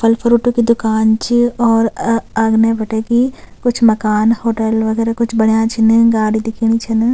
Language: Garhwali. फल फ्रूटो की दूकान च और अ अगने बटे की कुछ मकान होटल वगैरा कुछ बण्या छिन गाडी दिखेनी छन।